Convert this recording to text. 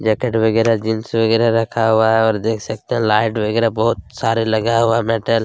jacket वगैरा jeans वगैरा रखा हुआ है और देख सकते लाइट वगैरा बहुत सारे लगा हुआ है मेटल --